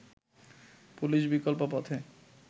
police বিকল্প পথে